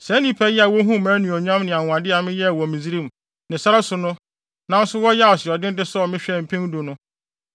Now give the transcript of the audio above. saa nnipa yi a wohuu mʼanuonyam ne anwonwade a meyɛɛ wɔ Misraim ne sare so no nanso wɔyɛɛ asoɔden de sɔɔ me hwɛɛ mpɛn du no,